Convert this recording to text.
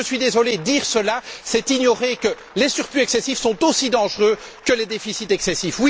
Je suis désolé, mais dire cela c'est ignorer que les surplus excessifs sont aussi dangereux que les déficits excessifs.